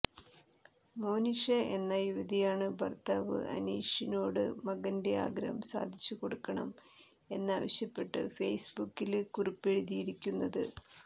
മോനിഷ എന്ന യുവതിയാണ് ഭര്ത്താവ് അനീഷിനോട് മകന്റെ ആഗ്രഹം സാധിച്ചു കൊടുക്കണം എന്നാവശ്യപ്പെട്ട് ഫെയ്സ്ബുക്കില് കുറിപ്പെഴുതിയിരിക്കുന്നത്